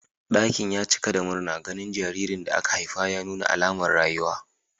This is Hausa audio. Dakin ya cika da murna ganin jaririn da aka haifa ya nuna alamar rayuwa.